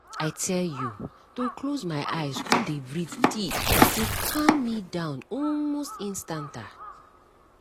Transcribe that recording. i tell you to close my eyes come dey breathe deep dey calm me down almost instanta